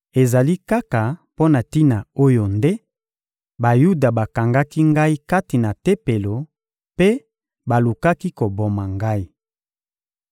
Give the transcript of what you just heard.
Ezali kaka mpo na tina oyo nde Bayuda bakangaki ngai kati na Tempelo mpe balukaki koboma ngai.